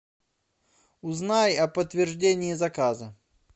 узнай о подтверждении заказа